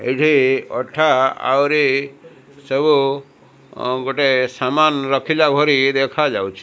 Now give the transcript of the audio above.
ଏଠି ଅଠା ଆହୁରି ସବୁ ଗୋଟେ ସାମାନ ରଖିଲା ଭଳି ଦେଖା ଯାଉଚି ।